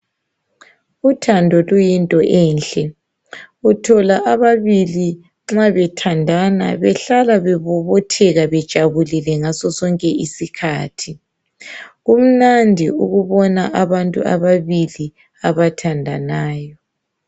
Uthando luyinto enhle, uthola abalili nxa bethandana behlala bebobotheka bejabulile ngaso sonke isikhathi. Kumnadi ukubona abantu ababili abathandanayo